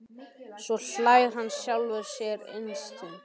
Svo hlær hann að sjálfum sér innst inni.